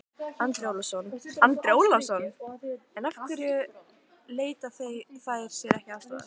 Andri Ólafsson: En af hverju leita þær sér ekki aðstoðar?